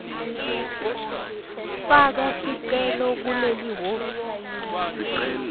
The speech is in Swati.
faka sicelo kulelihhovisi